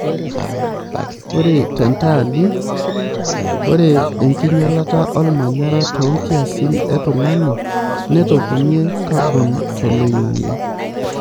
Ore tentaani, ore enkinyalata olmanyara too nkiasin e tung'ni nepotonie kabon toloing'ang'e.